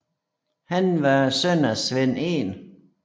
Han var søn af Svend 1